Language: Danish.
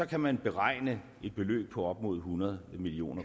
kan man beregne et beløb på op mod hundrede million